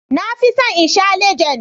Na fi son in sha Legend.